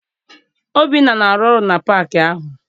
Obinna na-arụ ọrụ na paakị ahụ.